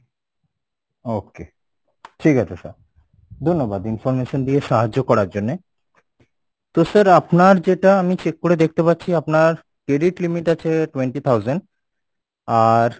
okay ঠিক আছে sir ধন্যবাদ information দিয়ে সাহায্য করার জন্যে তো sir আপনার যেটা আমি check করে দেখতে পাচ্ছি আপনার credit limit আছে twenty thousand আর